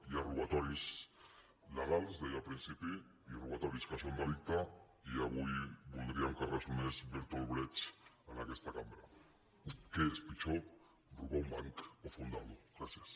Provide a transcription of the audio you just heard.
hi ha robatoris legals deia al principi i robatoris que són delicte i avui voldríem que ressonés bertolt brecht en aquesta cambra què és pitjor robar un banc o fundar·lo gràcies